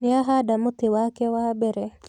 Nĩahanda mũtĩ wake wa mbere